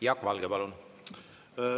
Jaak Valge, palun!